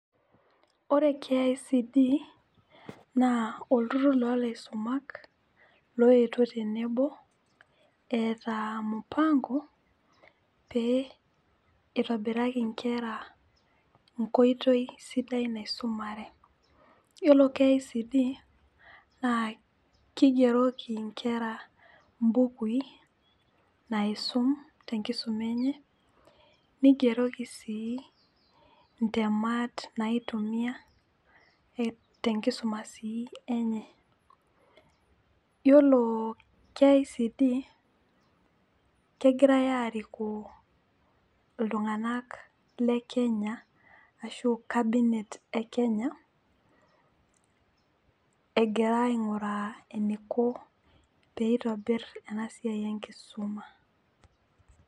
Ore KICD na olturur lolaisuma oetuo tenebo eeta ampango peitobiraki niche nkera nkoitoi sidai naisimumare, yiolo kicd na kigeroki nkera mbukui naisum tenkisuma enye nigeroki sii ntemat a nitumia tenkisuma enye, yiolo KICD kegirai arikoo ltunganak le kenya ashu cabinet e Kenya egira ainguraa anuko peitobir enasia enkisuma.